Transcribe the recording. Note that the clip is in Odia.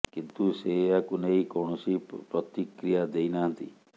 କିନ୍ତୁ ସେ ଏହାକୁ ନେଇ କୌଣସି ପ୍ରତିକ୍ରିୟା ଦେଇ ନାହାନ୍ତି